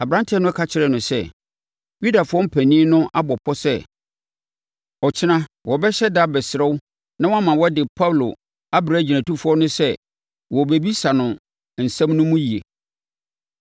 Aberanteɛ no ka kyerɛɛ no sɛ, “Yudafoɔ mpanin no abɔ pɔ sɛ ɔkyena wɔbɛhyɛ da abɛsrɛ wo na woama wɔde Paulo abrɛ agyinatufoɔ no sɛ wɔrebɛbisa no ne nsɛm no mu yie.